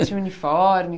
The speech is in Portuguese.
Tinha uniforme?